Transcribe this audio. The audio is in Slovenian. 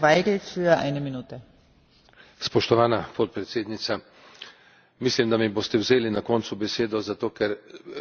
Mislim, da mi boste vzeli na koncu besedo, zato ker je težko povedati komplicirano stvar zelo hitro in kratko.